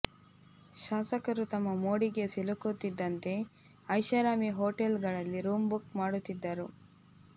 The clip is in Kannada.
ಶಾಸಕರು ತಮ್ಮ ಮೋಡಿಗೆ ಸಿಲುಕುತ್ತಿದ್ದಂತೆ ಐಷಾರಾಮಿ ಹೋಟೆಲ್ ಗಳಲ್ಲಿ ರೂಮ್ ಬುಕ್ ಮಾಡುತ್ತಿದ್ದರು